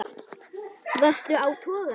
Varstu á togara?